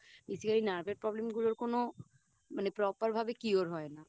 Basically Nerve এর Problem গুলোর কোনো Proper ভাবে Cure হয় না